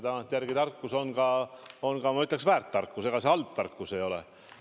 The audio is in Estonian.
Tagantjärele tarkus on ka, ma ütleksin, väärt tarkus, ega see halb tarkus ei ole.